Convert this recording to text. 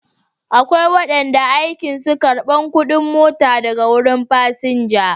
Akwai wanda aikin su karban kudin mota daga wurin fasinja